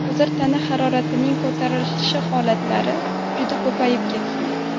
Hozir tana haroratining ko‘tarilishi holatlari juda ko‘payib ketgan.